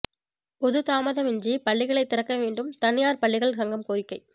பொது தாமதமின்றி பள்ளிகளை திறக்க வேண்டும் தனியார் பள்ளிகள் சங்கம் கோரிக்கை